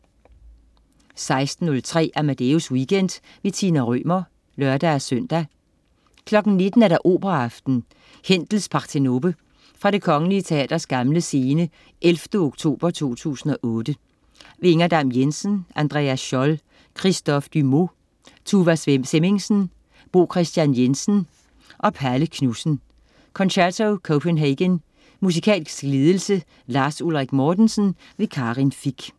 16.03 Amadeus Weekend. Tina Rømer (lør-søn) 19.00 Operaaften. Händels Partenope. Fra Det kgl. Teaters Gamle Scene, 11. oktober 2008. Inger Dam-Jensen, Andreas Scholl, Christophe Dumaux, Tuva Semmingsen, Bo Kristian Jensen og Palle Knudsen. Concerto Copenhagen.Musikalsk ledelse: Lars Ulrik Mortensen. Karin Fich